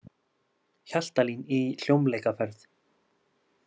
Hjaltalín í hljómleikaferð